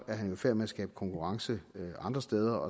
er han jo i færd med at skabe konkurrence andre steder